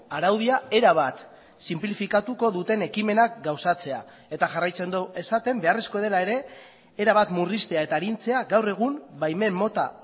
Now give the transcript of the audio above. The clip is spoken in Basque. araudia erabat sinplifikatuko duten ekimenak gauzatzea eta jarraitzen du esaten beharrezkoa dela ere erabat murriztea eta arintzea gaur egun baimen mota